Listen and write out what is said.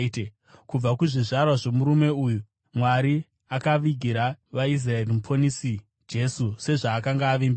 “Kubva kuzvizvarwa zvomurume uyu Mwari akavigira vaIsraeri Muponesi Jesu, sezvaakanga avimbisa.